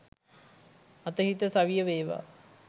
අතහිත සවිය වේවා